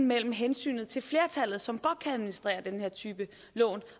mellem hensynet til flertallet som godt kan administrere den her type lån